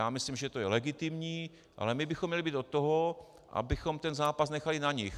Já myslím, že to je legitimní, ale my bychom měli být od toho, abychom ten zápas nechali na nich.